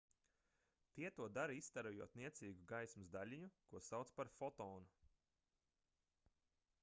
tie to dara izstarojot niecīgu gaismas daļiņu ko sauc par fotonu